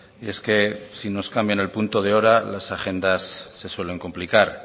y es que si nos cambian el punto de hora las agendas se suelen complicar